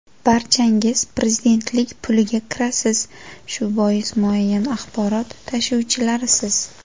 Barchangiz prezidentlik puliga kirasiz, shu bois muayyan axborot tashuvchilarisiz.